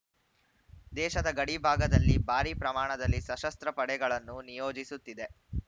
ದೇಶದ ಗಡಿ ಭಾಗದಲ್ಲಿ ಭಾರಿ ಪ್ರಮಾಣದಲ್ಲಿ ಸಶಸ್ತ್ರ ಪಡೆಗಳನ್ನು ನಿಯೋಜಿಸುತ್ತಿದೆ